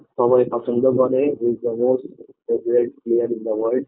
সবাই পছন্দ করে he is the most favorite player in the world